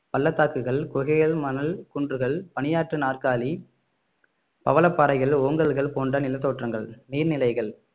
பள்ளத்தாக்குகள் குகைகள் மணல் குன்றுகள் பணியாற்று நாற்காலி பவளப்பாறைகள் ஓங்கல்கள் போன்ற நிலத்தோற்றங்கள் நீர்நிலைகள்